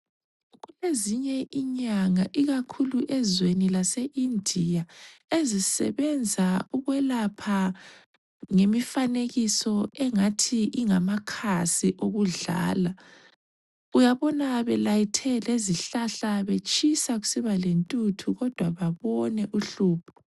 Ezinye inyanga ikakhulu ezweni laseIndia ezisebenza ukwelapha ngemifanekiso engathi ingamakhasi ukudlala. Uyabona belayithe lezihlahla betshisa kusiba lentuthu kodwa babone uhlupho.